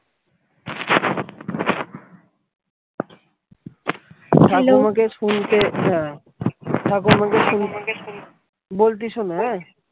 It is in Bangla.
ঠাকুমাকে ঠাকুমাকে বলছি শোনো আহ ।